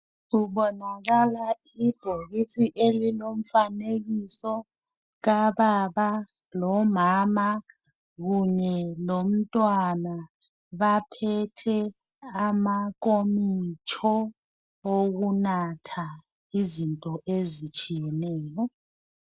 Kubonakala ibhokisi elilomfanekiso kababa lomama kunye lomntwana baphethe amankomitsho okunatha izinto ezitshiyeneyo.